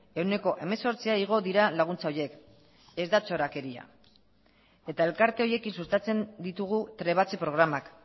ehuneko hemezortzia igo dira laguntza horiek ez da zorakeria eta elkarte horiekin sustatzen ditugu trebatze programak